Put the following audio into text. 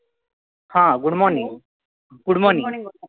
हा good morning good morning